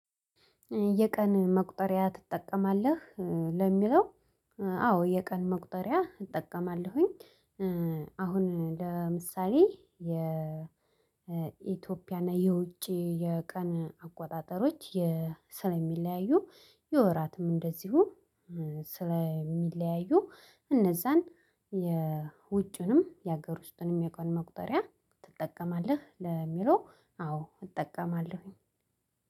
የቀን መቁጠሪያ ትጠቀማለህ ለሚለው? አዎ የቀን መቁጠሪያ እጠቀማለሁኝ። አሁን ለምሳሌ የኢትዮጵያና የውጪ የቀን አቆጣጠሮች ስለሚለያዩ የወራትም እንደዚሁ ስለሚለያዩ እነዛን የውጭንም የሀገር ውስጥንም የቀን መቁጠሪያ ትጠቀማለህ ለሚለው አዎ እጠቀማለሁኝ።